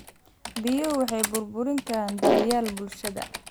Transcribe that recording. Biyuhu waxay burburin karaan daryeelka bulshada.